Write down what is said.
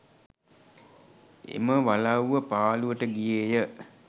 එම වලව්ව පාළුවට ගියේය